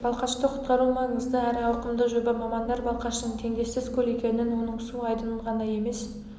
балқашты құтқару маңызды әрі ауқымды жоба мамандар балқаштың теңдессіз көл екенін оның су айдынын ғана емес